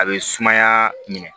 A bɛ sumaya minɛ